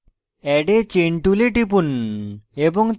add a chain tool টিপুন